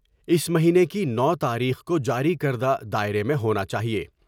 اس مہینے کی نو تاریخ کو جاری کردہ دائرہ میں ہونا چاہئے ۔